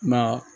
Ma